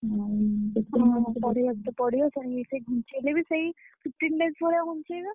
ହୁଁ ପଢିଆକୁ ତ ପଡିବ ଯାହାବି ହେଲେ ସେଇ ଘୁଞ୍ଚେଇଲେ ବି ସେଇ fifteen days ଭଳିଆ ଘୁଞ୍ଚେଇବେ।